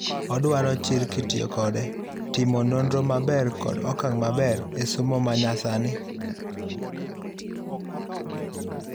Oduaro chir kitiyo kode, timo nonro maber kod okang' maber esomo manya sani